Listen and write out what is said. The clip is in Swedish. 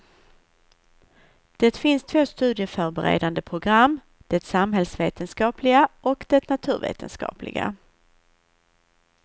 Det finns två studieförberedande program, det samhällsvetenskapliga och det naturvetenskapliga.